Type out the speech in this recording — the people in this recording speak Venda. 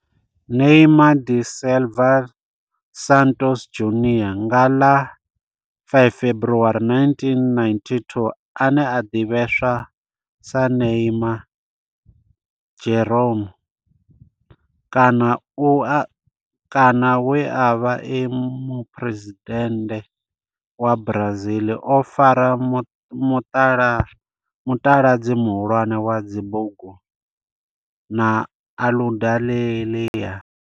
Neymar da Silva Santos Junior nga ḽa 5 February 1992, ane a ḓivhiwa sa Neymar' Jeromme kana we a vha e muphuresidennde wa Brazil o fara mutaladzi muhulwane wa dzi bugu na Aludalelia.